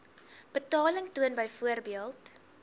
betaling toon byvoorbeeld